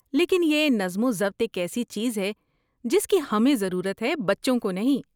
لیکن یہ نظم و ضبط ایک ایسی چیز ہے جس کی ہمیں ضرورت ہے، بچوں کو نہیں۔